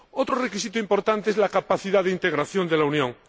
Otro requisito importante es la capacidad de integración de la Unión.